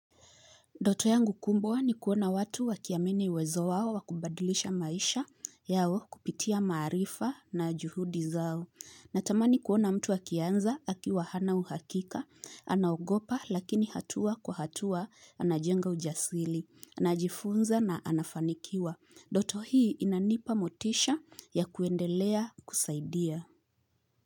Ndoto yangu kubwa ni kuona watu wakiamini uwezo wao wa kubadilisha maisha yao kupitia maarifa na juhudi zao. Natamani kuona mtu akianza akiwa hana uhakika, anagopa lakini hatua kwa hatua anajenga ujasili, anajifunza na anafanikiwa. Ndoto hii inanipa motisha ya kuendelea kusaidia.